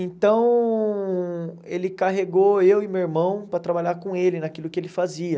Então, ele carregou eu e meu irmão para trabalhar com ele naquilo que ele fazia.